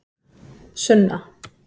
Sunna